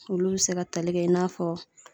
Olu be se ka tali kɛ i n'a fɔ